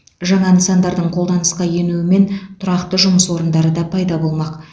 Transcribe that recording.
жаңа нысандардың қолданысқа енуімен тұрақты жұмыс орындары да пайда болмақ